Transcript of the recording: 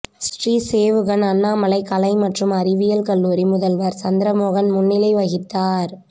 ஸ்ரீ சேவுகன் அண்ணாமலை கலை மற்றும் அறிவியல் கல்லூரி முதல்வர் சந்திரமோகன் முன்னிலை வகித்தார்